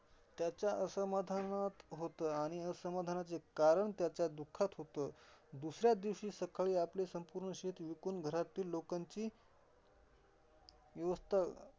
त्याचा असमाधान होत. आणि असमाधानाचे कारण त्याच्या दुःखात होत. दुसऱ्या दिवशी सकाळी आपले संपूर्ण शेत विकून घरातील लोकांची व्यवस्था